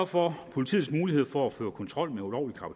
for at politiets mulighed for at føre kontrol med ulovlig